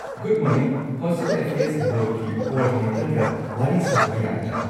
Good morning, hostel affairs ꯕꯣꯔꯗꯀꯤ ꯀꯣ-ꯑꯣꯔꯗꯤꯅꯦꯇꯔꯒ ꯋꯥꯔꯤ ꯁꯥꯖꯕ ꯌꯥꯒꯗ꯭ꯔꯥ?